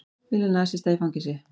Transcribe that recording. Vilja nasista í fangelsi